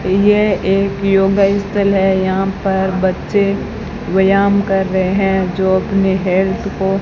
यह एक योगा इंस्टेल है यहां पर बच्चे व्यायाम कर रहे है जो अपने हेल्थ को--